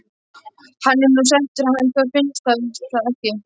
Hann er nú sætur hann Þór, finnst þér það ekki?